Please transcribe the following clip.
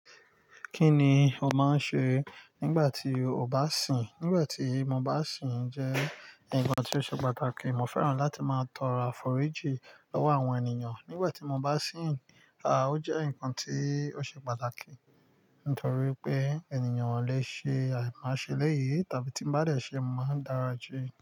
Kí ni o máa ń ṣe nígbà tí o bá sìn? Nígbà tí mo bá sìn jẹ́ nǹkan tí ó ṣe pàtàkì, mo fẹ́ràn láti máa tọrọ àforíjì lọ́wọ́ àwọn ènìyàn. Nígbà tí mo bá sìn, à ó jẹ́ nǹkan tí ó ṣe pàtàkì nítorí wipé ènìyàn o lè ṣe àìmọ̀ ṣe eléyìí tàbí tí ń bá dẹ̀ ṣe, máa dáa se.